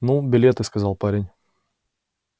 ну билеты сказал парень